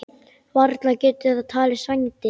Varla getur það talist vændi?